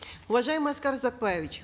уважаемый аскар узакбаевич